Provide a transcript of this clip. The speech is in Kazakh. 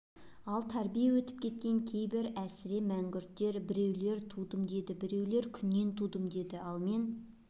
ал тәрбие өтіп кеткен кейбір әсіре мәңгүрттер біреулер тудым дейді біреулер күннен тудым дейді ал мен